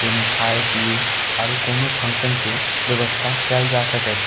जे मे खाए पी आरो कोनो फंक्शन के व्यवस्था काएल जा सके छै।